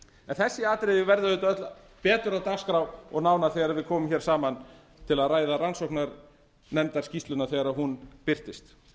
þessi atriði verða auðvitað öll betur á dagskrá og nánar þegar við komum saman í til að ræða rannsóknarnefndarskýrsluna þegar hún birtist